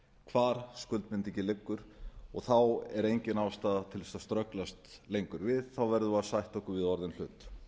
hvar skuldbindingin liggur og þá er engin ástæða til að ströglast lengur við þá verðum við að sætta okkur við orðinn hlut